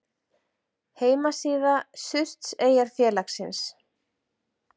Heimasíða Surtseyjarfélagsins.